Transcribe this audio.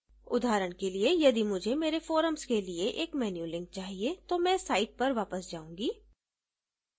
उदाहरण के लिए यदि मुझे मेरे forums के लिए एक menu link चाहिए तो मैं site पर वापस जाऊँगी